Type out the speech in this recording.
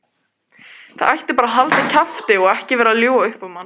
Það ætti bara að halda kjafti og vera ekki að ljúga upp á mann.